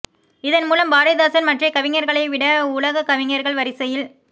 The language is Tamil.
இதன் மூலம் பாரதிதாசன் மற்றைய கவிஞர்களைவிட உலகக் கவிஞர்கள் வரிசையில்